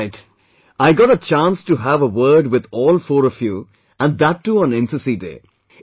All right I got a chance to have a word with all four of you, and that too on NCC Day